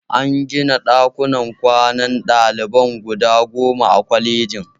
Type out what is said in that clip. An gina ɗakunan kwanan ɗalibai guda goma a kwalejin